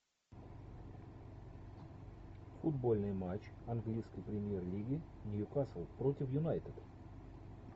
футбольный матч английской премьер лиги нью касл против юнайтед